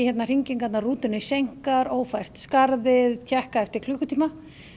hringingarnar rútunni seinkar ófært skarðið tékkaðu eftir klukkutíma